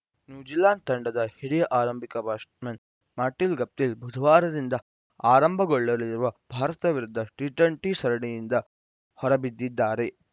New Zealand ತಂಡದ ಹಿರಿಯ ಆರಂಭಿಕ ಬ್ಯಾಟ್ಸ್‌ಮನ್‌ ಮಾರ್ಟಿನ್‌ ಗಪ್ಟಿಲ್‌ ಬುಧವಾರದಿಂದ ಆರಂಭಗೊಳ್ಳಲಿರುವ ಭಾರತ ವಿರುದ್ಧ ಟಿ ಟ್ವೆಂಟಿ ಸರಣಿಯಿಂದ ಹೊರಬಿದ್ದಿದ್ದಾರೆ